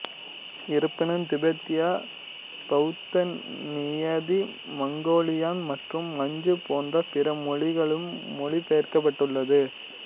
இருப்பினும் திபெத்திய பௌத்த நியதி மங்கோலியன் மற்றும் மஞ்சு போன்ற பிற மொழிகளிலும் மொழிபெயர்க்கப்பட்டுள்ளது